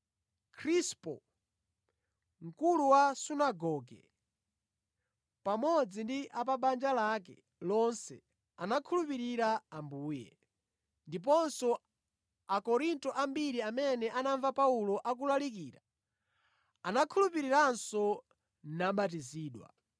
Krispo, mkulu wa sunagoge, pamodzi ndi a pa banja lake lonse anakhulupirira Ambuye; ndiponso Akorinto ambiri amene anamva Paulo akulalikira anakhulupiriranso nabatizidwa.